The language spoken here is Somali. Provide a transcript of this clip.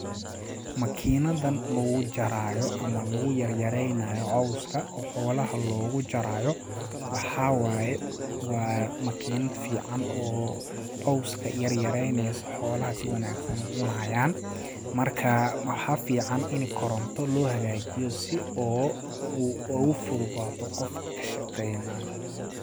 Makiinadan lagu jaraayo ama lagu yaryareynaayo cowska oo xoolaha loogu jaraayo waxaa waye waa makiinad fiican oo cowska yaryareyneyso xoolaha si wanaagsan u cunayaan markaa maxaa fican ini koronto loo hagaajiyo si oo ugu fududaato qofka kashaqeynaayo .